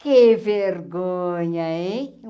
Que vergonha, hein?